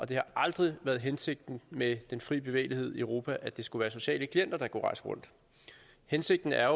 det har aldrig været hensigten med den fri bevægelighed i europa at det skulle være sociale klienter der kunne rejse rundt hensigten er